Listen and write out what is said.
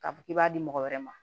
K'a fɔ k'i b'a di mɔgɔ wɛrɛ ma